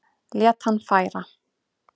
Lét hann færa